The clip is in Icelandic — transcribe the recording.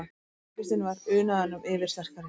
Angistin var unaðinum yfirsterkari.